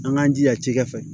An k'an jija cɛkɛ fɛ